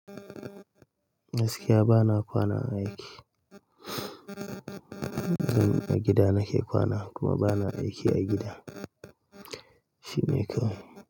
Gaskiya bana kwana a aiki. A gida nake kwana kuma bana aiki a gida. Shine kawai.